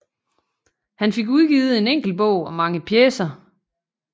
Han fik udgivet en enkelt bog og mange pjecer